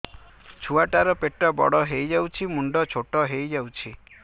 ଛୁଆ ଟା ର ପେଟ ବଡ ହେଇଯାଉଛି ମୁଣ୍ଡ ଛୋଟ ହେଇଯାଉଛି